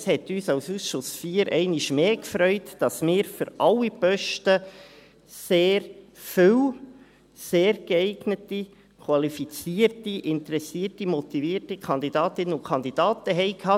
Es hat den Ausschuss IV einmal mehr gefreut, dass wir für alle Posten sehr viele sehr geeignete, qualifizierte, interessierte, motivierte Kandidatinnen und Kandidaten hatten.